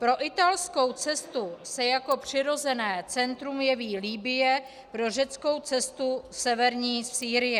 Pro italskou cestu se jako přirozené centrum jeví Libye, pro řeckou cestu severní Sýrie.